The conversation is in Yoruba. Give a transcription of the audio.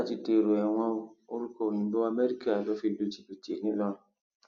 peter ti dèrò ẹwọn o orúkọ òyìnbó amẹríkà ló fi lu jìbìtì ńìlọrin